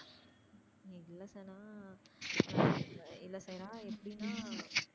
இல்ல சைரா எப்டினா?